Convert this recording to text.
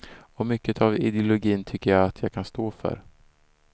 Och mycket av ideologin tycker jag att jag kan stå för.